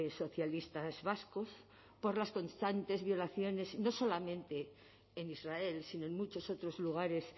socialistas vascos por las constantes violaciones no solamente en israel sino en muchos otros lugares